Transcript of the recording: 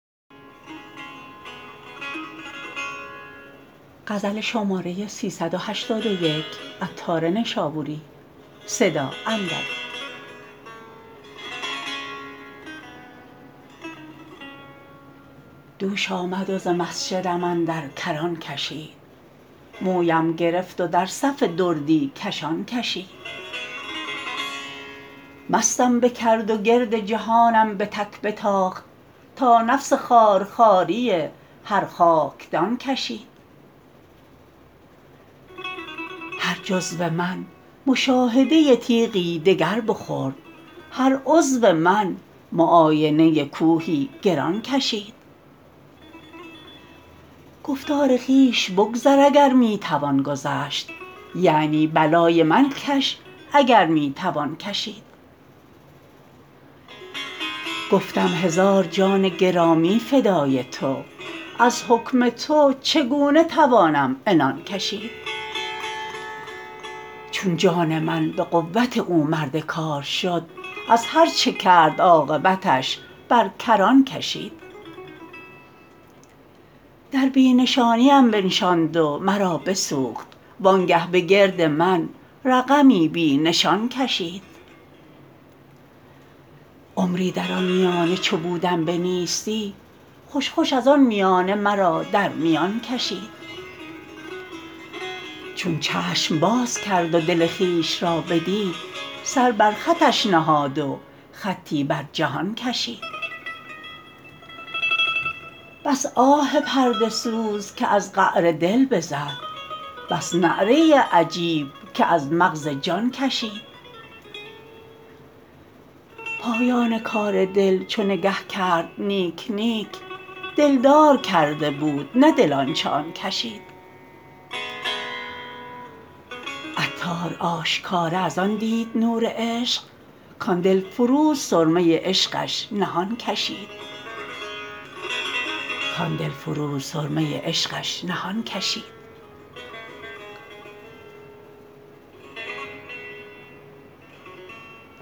دوش آمد و ز مسجدم اندر کران کشید مویم گرفت و در صف دردی کشان کشید مستم بکرد و گرد جهانم به تک بتاخت تا نفس خوار خواری هر خاکدان کشید هر جزو من مشاهده تیغی دگر بخورد هر عضو من معاینه کوهی گران کشید گفتا ز خویش بگذر اگر می توان گذشت یعنی بلای من کش اگر می توان کشید گفتم هزار جان گرامی فدای تو از حکم تو چگونه توانم عنان کشید چون جان من به قوت او مرد کار شد از هرچه کرد عاقبتش بر کران کشید در بی نشانیم بنشاند و مرا بسوخت وانگه به گرد من رقمی بی نشان کشید عمری در آن میانه چو بودم به نیستی خوش خوش از آن میانه مرا در میان کشید چون چشم باز کرد و دل خویش را بدید سر بر خطش نهاد و خطی بر جهان کشید بس آه پرده سوز که از قعر دل بزد بس نعره عجیب که از مغز جان کشید پایان کار دل چو نگه کرد نیک نیک دلدار کرده بود نه دل آنچه آن کشید عطار آشکار از آن دید نور عشق کان دلفروز سرمه عشقش نهان کشید